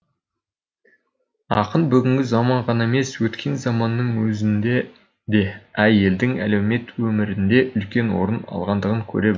ақын бүгінгі заман ғана емес өткен заманның өзінде де әйелдің әлеумет өмірінде үлкен орын алғандығын көре білді